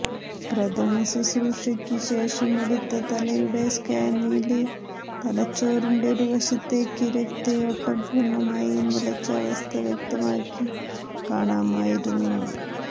പ്രഥമ ശുശ്രൂഷയ്ക്ക് ശേഷമെടുത്ത തലയുടെ സ്കാനില് തലച്ചോറിന്റെ ഒരുവശത്തേക്ക് രക്തയോട്ടം പൂര്ണമായി നിലച്ച അവസ്ഥ വ്യക്തമായി കാണാമായിരുന്നു